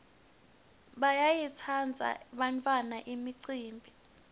bayayitsandza bantfwana imicimbi